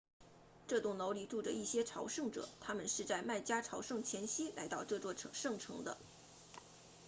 这栋楼里住着一些朝圣者他们是在麦加朝圣前夕来到这座圣城的